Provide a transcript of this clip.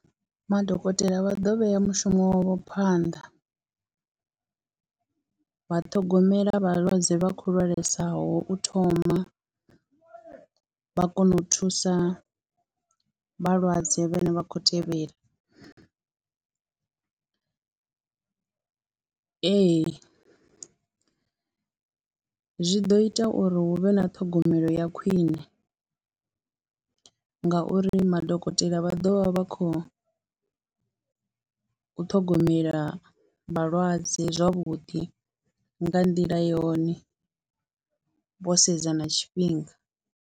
Madokotela vha ḓo vhea mushumo wavho phanḓa, vha ṱhogomela vhalwadze vha khou lwalesaho u thoma, u vha kona u thusa u vhalwadze vhane vha khou tevhela, ee zwi ḓo ita uri hu vhe na ṱhogomelo ya khwine ngauri madokotela vha ḓo vha vha khou ṱhogomela vhalwadze zwavhuḓi nga nḓila yone, vho sedza na tshifhinga.